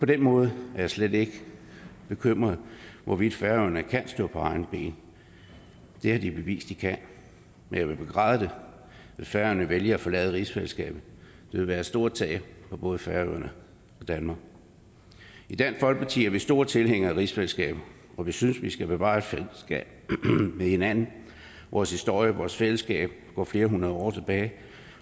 den måde er jeg slet ikke bekymret for hvorvidt færøerne kan stå på egne ben det har de bevist de kan men jeg vil begræde det hvis færøerne vælger at forlade rigsfællesskabet det vil være et stort tab for både færøerne og danmark i dansk folkeparti er vi store tilhængere af rigsfællesskabet og vi synes vi skal bevare et fællesskab med hinanden vores historie og vores fællesskab går flere hundrede år tilbage